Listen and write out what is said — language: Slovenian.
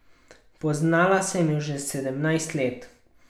Poznala sem jo že sedemnajst let.